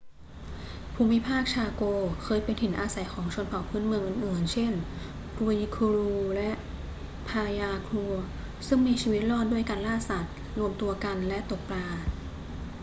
ภูมิภาคชาโกเคยเป็นถิ่นอาศัยของชนเผ่าพื้นเมืองอื่น ๆ เช่น guaycurú และ payaguá ซึ่งมีชีวิตรอดด้วยการล่าสัตว์ รวมตัวกันและตกปลา